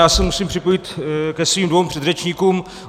Já se musím připojit ke svým dvěma předřečníkům.